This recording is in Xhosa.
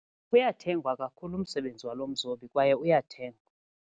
Uyathengwa kakhulu umsebenzi walo mzobi kwaye uyathengwa.